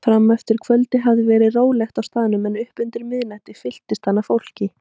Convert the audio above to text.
Frameftir kvöldi hafði verið rólegt á staðnum en upp úr miðnætti fylltist hann af fólki.